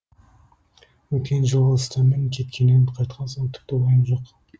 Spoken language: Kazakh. өткен жылғы ұстамен кеткеннен қайтқан соң тіпті уайым жоқ